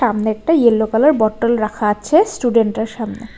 সামনে একটা yellow colour bottle রাখা আছে স্টুডেন্টটার সামনে।